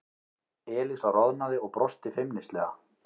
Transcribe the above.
Elísa roðnaði og brosti feimnislega.